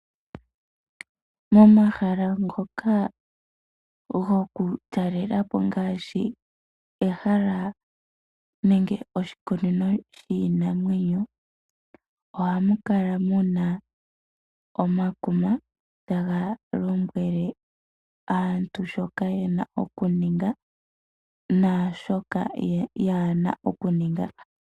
Momahala ngoka goku talelapo ngaashi oshikunino shiinamwenyo, ohamu kala muna omadhidhiliko, taga lombwele aantu shoka yena oku ninga naashoka yaana okuninga.